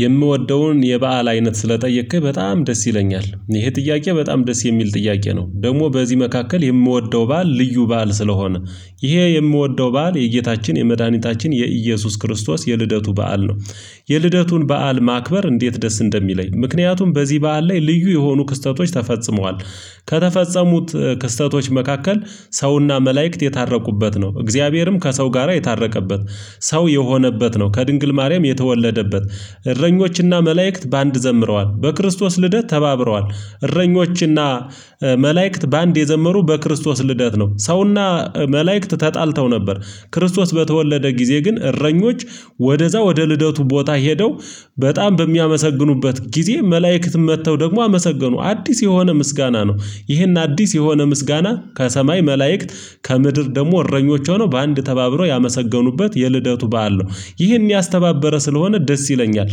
የምወደውን የበአል አይነት ስለጠየቅክ በጣም ደስ ይለኛል ይሄ ጥያቄ በጣም ደስ የሚል ጥያቄ ነው። ደግሞ በዚህ መካከል የምወደው በዓል ልዩ በዓል ስለሆነ ይሄ የምወደው በዓል የጌታችን የመድኃኒታችን የኢየሱስ ክርስቶስ የልደቱ በዓል ነው። የልደቱን በዓል ማክበር እንዴት ደስ እንደሚለኝ ምክንያቱም በዚህ በዓል ላይ ልዩ የሆኑ ክስተቶች ተፈጽመዋል። ከተፈጸሙት ክስተቶች መካከል ሰው እና መላእክት የታረቁበት ነው እግዚአብሔርም ከሰው ጋራ የታረቀበት። ሰው የሆነበት ነው ከድንግል ማርያም የተወለደበት። እረኞች እና መላእክት በአንድ ዘምረዋል በክርስቶስ ልደት ተባብረዋል። እረኞች እና መላእክት በአንድ የዘመሩ በክርስቶስ ልደት ነው። ሰው እና መላእክት ተጣልተው ነበር ክርስቶስ በተወለደ ጊዜ ግን እረኞች ወደዛ ወደ ልደቱ ቦታ ሄደው በጣም በሚያመሰግኑበት ጊዜ መላእክት መጥተው ደግሞ አመሰገኑ አዲስ የሆነ ምስጋና ነው። ይሄን አዲስ የሆነ ምስጋና ከሰማይ መላእክት ከምድር ደግሞ እረኞች ሆነው በአንድ ተባብረው ያመሰገኑበት የልደቱ በዓል ነው። ይህን ያስተባበረ ስለሆነ ደስ ይለኛል።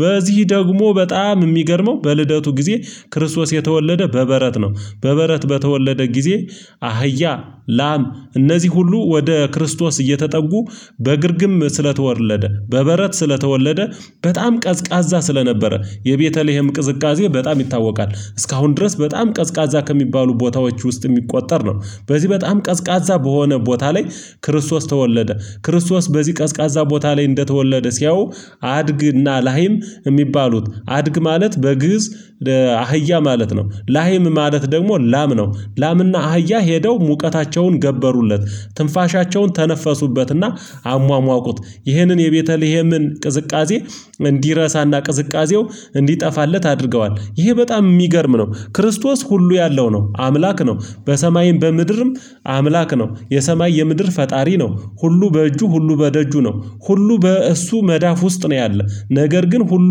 በዚህ ደግሞ በጣም የሚገርመው በልደቱ ጊዜ ክርስቶስ የተወለደ በበረት ነው። በበረት በተወለደ ጊዜ አህያ ላም እነዚህ ሁሉ ወደ ክርስቶስ እየተጠጉ በግርግም ስለተወለደ በበረት ስለተወለደ በጣም ቀዝቃዛ ስለነበረ የቤተልሄም ቅዝቃዜ በጣም ይታወቃል እስካሁን ድረስ በጣም ቀዝቃዛ ከሚባሉ ቦታዎች ውስጥ የሚቆጠር ነው። በዚህ በጣም ቀዝቃዛ በሆነ ቦታ ላይ ክርስቶስ ተወለደ። ክርስቶስ በዚህ ቀዝቃዛ ቦታ ላይ እንደተወለደ ሲያዩ አድግና ላሂም የሚባሉት አድግ ማለት በግእዝ አህያ ማለት ነው። ላሂም ማለት ደግሞ ላም ነው። ላም እና አህያ ሄደው ሙቀታቸውን ገበሩለት ትንፋሻቸውን ተነፈሱበትና አሟሟቁት ይህንን የቤተልሄምን ቅዝቃዜ እንዲረሳና ቅዝቃዜው እንዲጠፋለት አድርገዋል ይሄ በጣም የሚገርም ነው። ክርስቶስ ሁሉ ያለው ነው አምላክ ነው። በሰማይም በምድርም አምላክ ነው የሰማይ የምድር ፈጣሪ ነው። ሁሉ በእጁ ሁሉ በደጁ ነው። ሁሉ በእሱ መዳፍ ውስጥ ነው ያለው ነገር ግን ሁሉ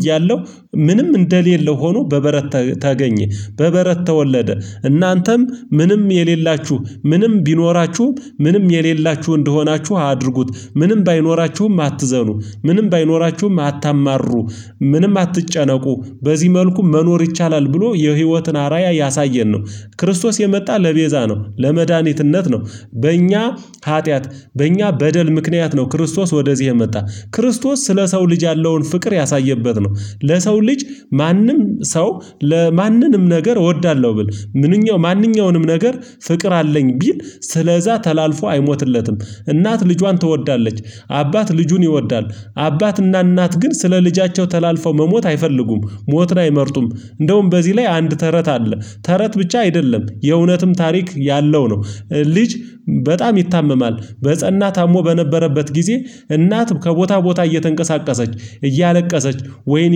እያለው ምንም እንደሌለው ሆኖ በበረት ተገኜ በበረት ተወለደ። እናንተም ምንም የሌላችሁ ምንም ቢኖራችሁም ምንም የሌላችሁ እንደሆናችሁ አድርጉት ምንም ባይኖራችሁም አትዘኑ ምንም ባይኖራችሁም አታማሩ ምንም አትጨነቁ በዚህ መልኩ መኖር ይቻላል ብሎ የህይወትን አራያ ያሳየን ነው። ክርስቶስ የመጣ ለቤዛ ነው ለመድኃኒትነት ነው። በእኛ ኃጢአት በእኛ በደል ምክንያት ነው ክርስቶስ ወደዚህ የመጣ ክርስቶስ ስለ ሰው ልጅ ያለውን ፍቅር ያሳየበት ነው። ለሰው ልጅ ማንም ሰው ለማንንም ነገር እወዳለሁ ብል ምንኛው ማንኛውንም ነገር ፍቅር አለኝ ቢል ስለዛ ተላልፎ አይሞትለትም። እናት ልጇን ትወዳለች። አባት ልጁን ይወዳል። አባት እና እናት ግን ስለ ልጃቸው ተላልፈው መሞት አይፈልጉም። ሞትን አይመርጡም እንደውም በዚህ ላይ አንድ ተረት አለ ተረት ብቻ አይደለም የእውነትም ታሪክ ያለው ነው። ልጅ በጣም ይታመማል በጸና ታሞ በነበረበት ጊዜ እናት ከቦታ ቦታ እየተንቀሳቀሰች እያለቀሰች ወይኔ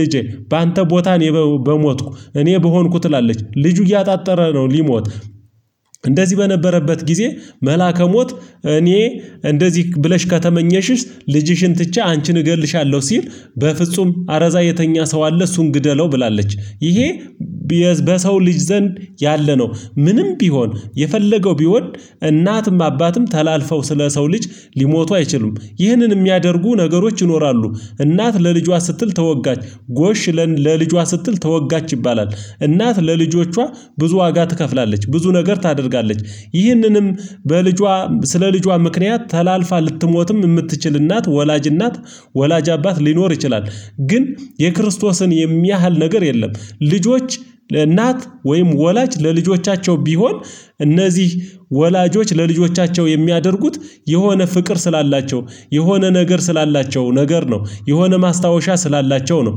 ልጄ በአንተ ቦታ እኔ በሞትኩ እኔ በሆንኩ ትላለች። ልጁ እያጣጠረ ነው ሊሞት እንደዚህ በነበረበት ጊዜ መላከ ሞት እኔ እንደዚህ ብለሽ ከተመኘሽስ? ልጅሽን ትቼ አንቺን እገልሻለሁ ሲል። በፍጹም አረዛ የተኛ ሰው አለ እሱን ግደለው ብላለች ይሄ። በሰው ልጅ ዘንድ ያለ ነው። ምንም ቢሆን የፈለገው ቢወድ እናትም አባትም ተላልፈው ስለ ሰው ልጅ ሊሞቱ አይችሉም። ይህንን የሚያደርጉ ነገሮች ይኖራሉ። እናት ለልጇ ስትል ተወጋች ጎሽ ለልጇ ስትል ተወጋች ይባላል። እናት ለልጆቿ ብዙ ዋጋ ትከፍላለች ብዙ ነገር ታደርጋለች። ይህንንም በልጇ ስለ ልጇ ምክንያት ተላልፋ ልትሞትም የምትችል እናት ወላጅ እናት ወላጅ አባት ሊኖር ይችላል። ግን የክርስቶስን የሚያህል ነገር የለም። ልጆች ለእናት ወይም ወላጅ ለልጆቻቸው ቢሆን እነዚህ ወላጆች ለልጆቻቸው የሚያደርጉት የሆነ ፍቅር ስላላቸው የሆነ ነገር ስላላቸው ነገር ነው የሆነ ማስታወሻ ስላላቸው ነው።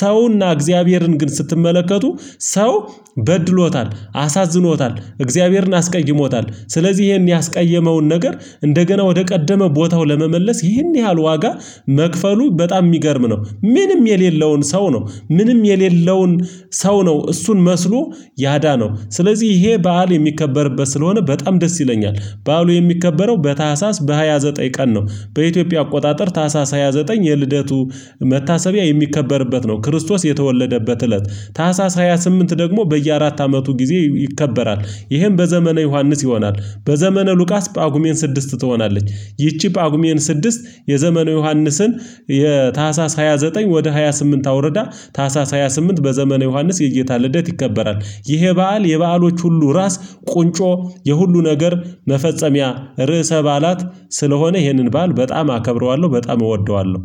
ሰው እና እግዚአብሔርን ግን ስትመለከቱ ሰው በድሎታል አሳዝኖታል እግዚአብሔርን አስቀይሞታል ስለዚህ ይሄን ያስቀየመውን ነገር እንደገና ወደ ቀደመ ቦታው ለመመለስ ይሄን ያህል ዋጋ መክፈሉ በጣም የሚገርም ነው። ምንም የሌለውን ሰው ነው ምንም የሌለውን ሰው ነው እሱን መስሎ ያዳነው ስለዚህ ይሄ በዓል የሚከበርበት ስለሆነ በጣም ደስ ይለኛል። በዓሉ የሚከበረው በታህሳስ በሃያ ዘጠኝ ቀን ነው። በኢትዮጵያ አቆጣጠር ታህሳስ ሃያ ዘጠኝ የልደቱ መታሰቢያ የሚከበርበት ነው ክርስቶስ የተወለደበት እለት። ታህሳስ ሃያ ስምንት ደግሞ በየአራት አመቱ ጊዜ ይከበራል። ይሄም በዘመነ ዮሐንስ ይሆናል። በዘመነ ሉቃስ ጳጉሜን ስድስት ትሆናለች። ይቺ ጳጉሜን ስድስት የዘመነ ዮሐንስን የታህሳስ ሃያ ዘጠኝ ወደ ሃያ ስምንት አውርዳ ታህሳስ ሃያ ስምንት በዘመነ ዮሐንስ የጌታ ልደት ይከበራል። ይሄ በዓል የበዓሎች ሁሉ ራስ ቁንጮ የሁሉ ነገር መፈጸሚያ ርዕሰ ባዓላት ስለሆነ ይህንን ባል በጣም አከብረዋለሁ በጣም እወደዋለሁ